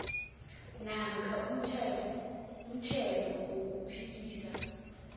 namkha umthelo wokuphikisa